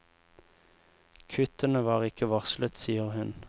Kuttene var ikke varslet, sier hun.